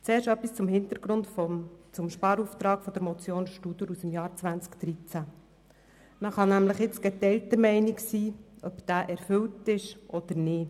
Zuerst etwas zum Hintergrund des Sparauftrags der Motion Studer aus dem Jahr 2013: Man kann geteilter Meinung sein, ob er erfüllt ist oder nicht.